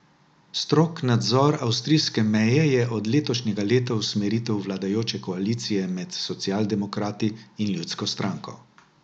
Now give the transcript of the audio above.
Strog nadzor avstrijske meje je od letošnjega leta usmeritev vladajoče koalicije med socialdemokrati in ljudsko stranko.